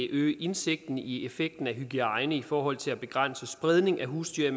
øge indsigten i effekten af hygiejne i forhold til at begrænse spredning af husdyr